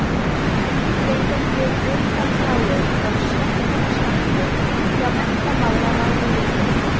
Í grábláum augunum var þrákelknislegt blik.